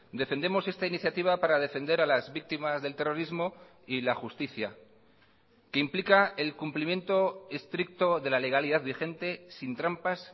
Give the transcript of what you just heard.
defendemos esta iniciativa para defender a las víctimas del terrorismo y la justicia que implica el cumplimiento estricto de la legalidad vigente sin trampas